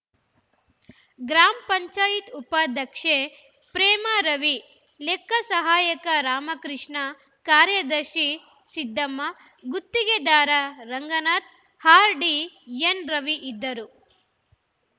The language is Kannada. ಗ್ರಾಮ ಪಂಚಾಯತ್ ಉಪಾಧ್ಯಕ್ಷೆ ಪ್ರೇಮ ರವಿ ಲೆಕ್ಕಸಹಾಯಕ ರಾಮಕೃಷ್ಣ ಕಾರ್ಯದರ್ಶಿ ಸಿದ್ದಮ್ಮ ಗುತ್ತಿಗೆದಾರ ರಂಗನಾಥ್‌ ಆರ್‌ಡಿ ಎನ್‌ ರವಿ ಇದ್ದರು